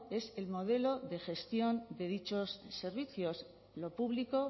es el modelo de gestión de dichos servicios lo público